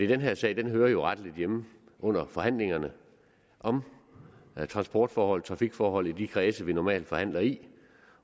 den her sag hører jo rettelig hjemme i forhandlingerne om transportforhold trafikforhold i de kredse vi normalt forhandler i